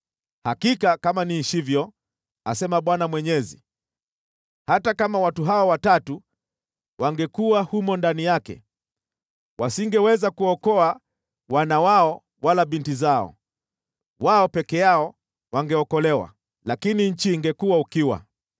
hakika kama niishivyo, asema Bwana Mwenyezi, hata kama watu hawa watatu wangekuwa humo ndani yake, wasingeweza kuokoa wana wao wala binti zao. Wao peke yao wangeokolewa, lakini nchi ingekuwa ukiwa.